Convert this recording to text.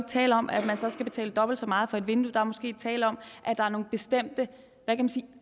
tale om at man så skal betale dobbelt så meget for et vindue der er måske tale om at der er nogle bestemte